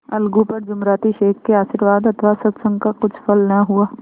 अलगू पर जुमराती शेख के आशीर्वाद अथवा सत्संग का कुछ फल न हुआ